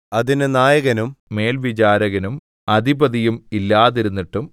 അതിന് നായകനും മേൽവിചാരകനും അധിപതിയും ഇല്ലാതിരുന്നിട്ടും